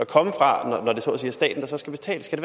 komme fra når det så at sige er staten der skal betale skal